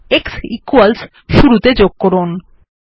শেষে x equals শুরুতে যোগ করুন